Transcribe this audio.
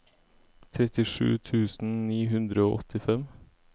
trettisju tusen ni hundre og åttifem